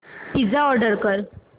pizza order कर